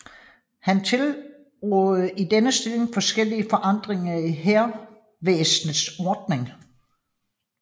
Han tilrådede i denne stilling forskellige forandringer i hærvæsenets ordning